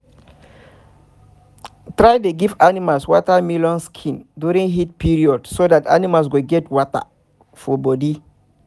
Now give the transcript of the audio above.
try dey give animals watermelon skin during heat period so that animals go get enough water for body